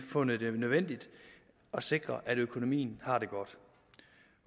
fundet det nødvendigt at sikre at økonomien har det godt